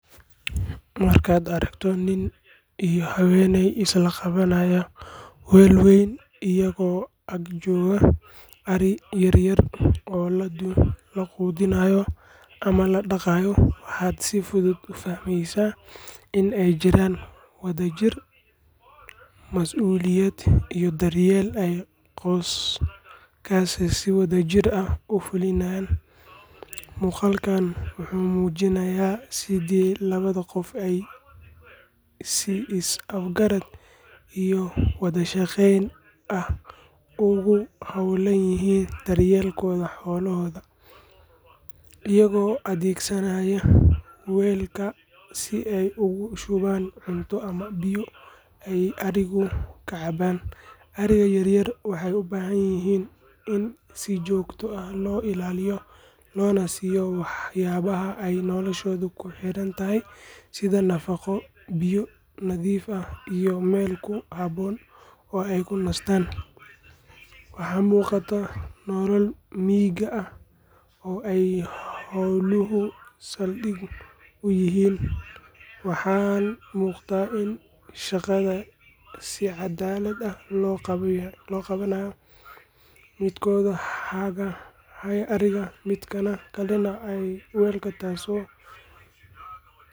Markaad aragto nin iyo haweeney isla qabanaya weel weyn iyagoo ag jooga ariya yar yar oo la quudinayo ama la dhaqayo, waxaad si fudud u fahmaysaa in ay jiraan wadajir, masuuliyad iyo daryeel ay qoyskaasi si wadajir ah u fulinayaan. Muuqaalkani wuxuu muujinayaa sidii labada qof ay si is-afgarad iyo wada shaqayn ah ugu hawlan yihiin daryeelka xoolahooda, iyagoo adeegsanaya weelka si ay ugu shubaan cunto ama biyo ay arigu ka cabbaan. Ariga yar yar waxay u baahan yihiin in si joogto ah loo ilaaliyo loona siiyo waxyaabaha ay noloshoodu ku xirantahay sida nafaqo, biyo nadiif ah iyo meel ku habboon oo ay ku nastaan. Waxaa muuqata nolol miyiga ah oo ay xooluhu saldhig u yihiin, waxaana muuqata in shaqada si cadaalad ah loo qaybiyay, midkood haya ariga midka kalena haya weelka taasoo.